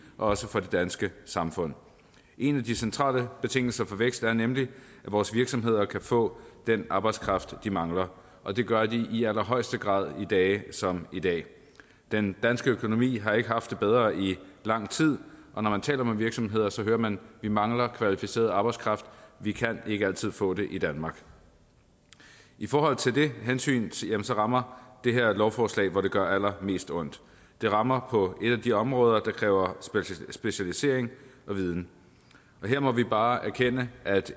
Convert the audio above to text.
og også for det danske samfund en af de centrale betingelser for vækst er nemlig at vores virksomheder kan få den arbejdskraft de mangler og det gør de i allerhøjeste grad på dage som i dag den danske økonomi har ikke haft det bedre i lang tid og når man taler med virksomheder så hører man vi mangler kvalificeret arbejdskraft vi kan ikke altid få det i danmark i forhold til de hensyn rammer det her lovforslag hvor det gør allermest ondt det rammer på et af de områder der kræver specialisering og viden her må vi bare erkende at et